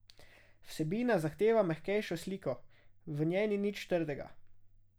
Vsebina zahteva mehkejšo sliko, v njej ni nič trdega.